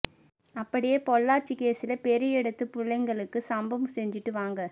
அப்படியே பொள்ளாச்சி கேசுல பெரிய இடது புள்ளைங்களுக்கு சம்பவம் செஞ்சுட்டு வாங்க